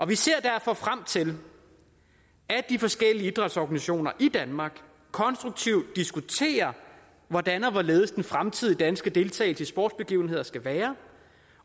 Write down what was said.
vi ser derfor frem til at de forskellige idrætsorganisationer i danmark konstruktivt diskuterer hvordan og hvorledes den fremtidige danske deltagelse i sportsbegivenheder skal være